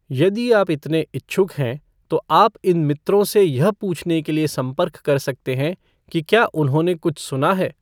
यदि आप इतने इच्छुक हैं, तो आप इन मित्रों से यह पूछने के लिए संपर्क कर सकते हैं कि क्या उन्होंने कुछ सुना है।